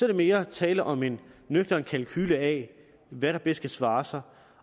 der mere tale om en nøgtern kalkule af hvad der bedst kan svare sig